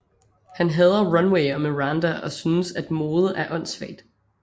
Han hader Runway og Miranda og synes at mode er åndsvagt